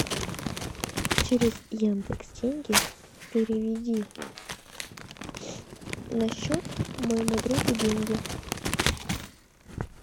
через яндекс деньги переведи на счет моему другу деньги